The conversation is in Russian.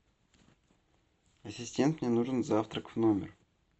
ассистент мне нужен завтрак в номер